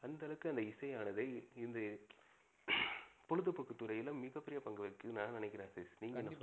அந்த அளவுக்கு அந்த இசை ஆனது இது பொழுதுபோக்கு துறைல மிக பெரிய பங்கு வகிக்கிதுன்னு நா நினைக்கிறேன் சதீஷ். நீங்க என்ன?